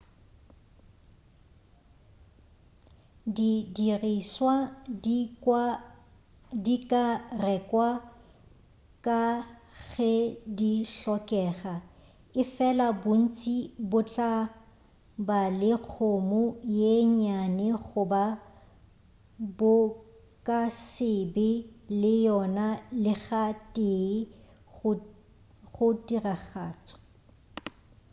di dirišwa di ka rekwa ka ge di hlokega efela bontši bo tla ba le kgomo ye nnyane goba bo ka se be le yona lega tee go tiragatšo